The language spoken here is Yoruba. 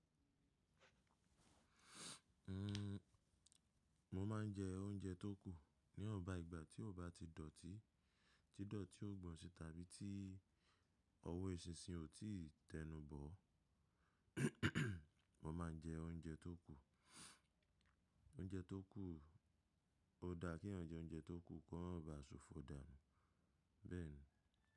N, mo ma n jẹ oúnjẹ tó kù ní wọ̀ǹba ìgbà tí ó bá ti dọ̀tí, tí dọ̀tí ó gbọ̀n si tàbí tí ọwọ́ eṣinṣin ò tí ì tẹnu bọ̀. Mo ma n jẹ oúnjẹ tó kù. Oúnjẹ tó kù, ó dá keeyan jẹ oúnjẹ tó kù kí ó ma bà ṣòfò dànù. Bẹ́ẹ̀ni.